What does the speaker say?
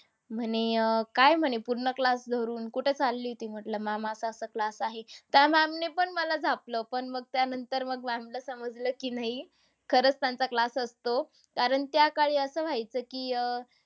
म्हणे अह काय म्हणे पूर्ण class धरून कुठं चालली होती? म्हटलं ma'am असं-असं class आहे. त्या ma'am ने पण मला झापलं. पण मग त्यानंतर ma'am ला समजलं की नाही. खरंच त्यांचा class असतो. कारण त्याकाळी असं व्हायचं की अह